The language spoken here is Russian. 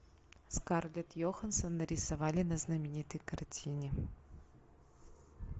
скарлетт йоханссон нарисовали на знаменитой картине